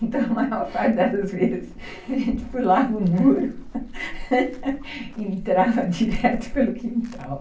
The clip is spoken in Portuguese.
Então, a maior parte das vezes, a gente pulava o muro e entrava direto pelo quintal.